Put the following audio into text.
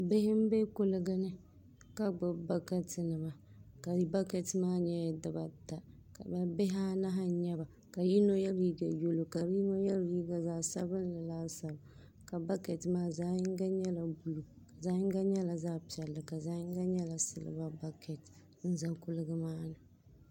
Bihi n bɛ kuligi ni ka gbubi bakɛti nima bakɛti maa nyɛla dibata bi bihi anahi n nyɛba ka yino yɛ liiga yɛlo ka yino yɛ liiga zaɣ sabinli laasabu ka bakɛt maa zaɣ yinga nyɛla buluu zaɣ yinga nyɛla zaɣ piɛlli zaɣ yinga nyɛla silba bakɛt n ʒɛ kuligi maa ni